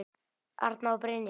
Arna og Brynja.